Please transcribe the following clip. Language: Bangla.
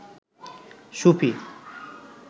সুফি